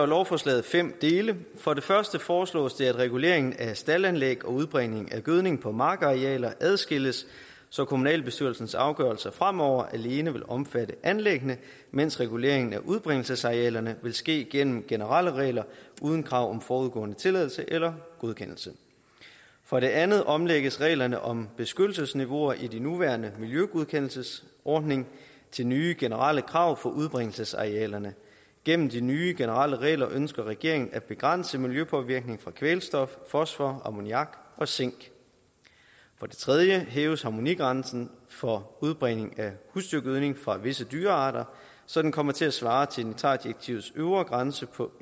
lovforslaget fem dele for det første foreslås det at regulering af staldanlæg og udbringning af gødning på markarealer adskilles så kommunalbestyrelsens afgørelser fremover alene vil omfatte anlæggene mens reguleringen af udbringningsarealerne vil ske gennem generelle regler uden krav om forudgående tilladelse eller godkendelse for det andet omlægges reglerne om beskyttelsesniveauer i den nuværende miljøgodkendelsesordning til nye generelle krav for udbringningsarealerne gennem de nye generelle regler ønsker regeringen at begrænse miljøpåvirkningen fra kvælstof fosfor ammoniak og zink for det tredje hæves harmonigrænsen for udbringning af husdyrgødning fra visse dyrearter så den kommer til at svare til nitratdirektivets øvre grænse på